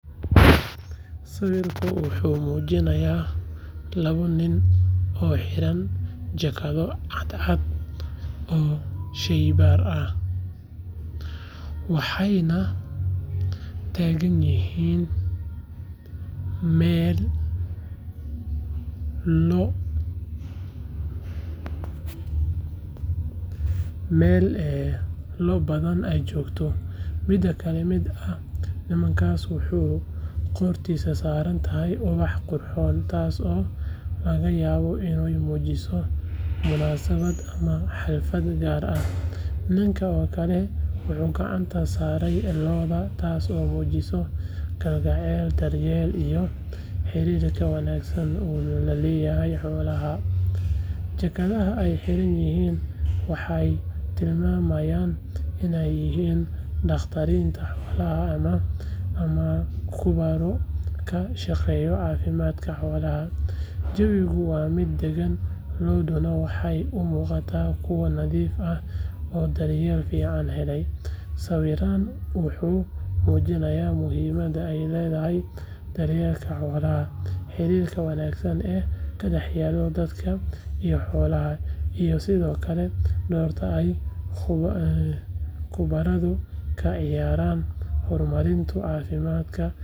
Sawirkan wuxuu mujinayaa lawa nin oo xiran jakaado cadan ah oo sheybar ah waxayna tagan yihin meel lo badan ee jogto, ninka kale wuxuu gacanta sare xolaha, hakaada ee xiran yihin waxee til mamayinsa jawigu waa miid dagan, sawirkan wuxuu mujinayaa muhiimaada ee ledhahay xirirka xolaha iyo xolaha dortan ka ciyaran hor marinta.